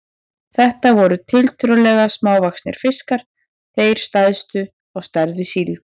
Þetta voru tiltölulega smávaxnir fiskar, þeir stærstu á stærð við síld.